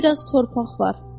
Orada bir az torpaq var.